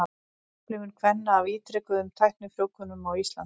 Upplifun kvenna af ítrekuðum tæknifrjóvgunum á Íslandi.